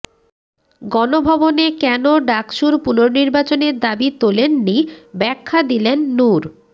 গণভবনে কেন ডাকসুর পুনর্নির্বাচনের দাবি তোলেননি ব্যাখ্যা দিলেন নুর